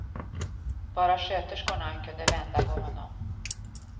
Bara sköterskorna kunde vända på honom.